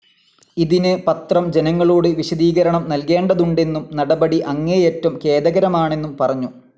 ഇതിന് പത്രം ജനങ്ങളോട് വിശദീകരണം നൽകേണ്ടതുണ്ടെന്നും നടപടി അങ്ങേയറ്റം ഖേദകരമാണെന്നും പറഞ്ഞു.